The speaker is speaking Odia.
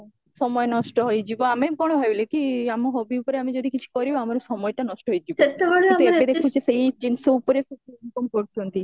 ସମୟ ନଷ୍ଟ ହୋଇଯିବ ଆମର କଣ ଭାବିଲେ କି ଆମ hobby ଉପରେ ଆମେ ଯଦି କିଛି କରିବା ଆମର ସମୟଟା ନଷ୍ଟ ହେଇଯିବା ଏବେ ଦେଖୁଚି ସେଇ ଜିନିଷ ଉପରେ ସବୁ income କରୁଚନ୍ତି